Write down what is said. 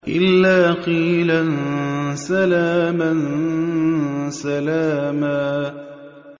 إِلَّا قِيلًا سَلَامًا سَلَامًا